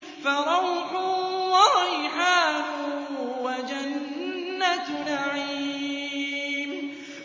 فَرَوْحٌ وَرَيْحَانٌ وَجَنَّتُ نَعِيمٍ